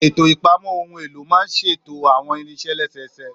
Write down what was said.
Ètò ìpamọ́ ohun èlò máa ń ṣètò àwọn irinṣẹ́ lẹ́sẹẹsẹ